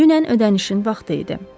Dünən ödənişin vaxtı idi.